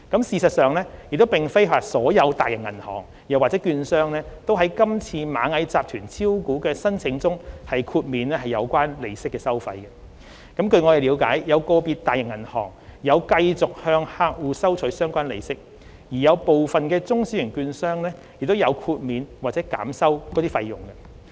事實上，並非所有大型銀行或券商均在今次螞蟻集團招股的申請中豁免有關利息收費，據我們了解，有個別大型銀行有繼續向客戶收取相關利息，而有部分中小型券商亦有豁免或減收該費用。